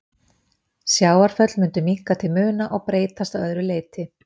Sjávarföll mundu minnka til muna og breytast að öðru leyti.